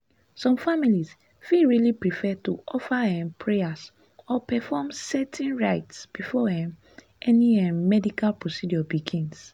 some families fit really prefer to offer um prayers or perform certain rites before um any um medical procedure begins."